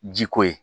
Jiko ye